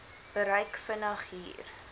bereik begin hier